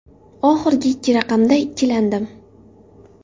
Oxirgi ikki raqamda ikkilandim.